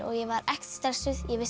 ég var ekkert stressuð ég vissi